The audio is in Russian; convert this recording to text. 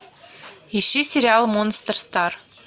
ищи сериал монстр стар